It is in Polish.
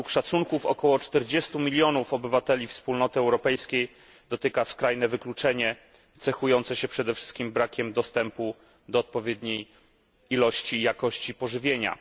Według szacunków, około 40 milionów obywateli Wspólnoty Europejskiej dotyka skrajne wykluczenie cechujące się przede wszystkim brakiem dostępu do odpowiedniej ilości i jakości pożywienia.